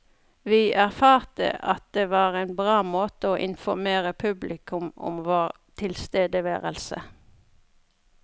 Vi erfarte at det var en bra måte å informere publikum om vår tilstedeværelse.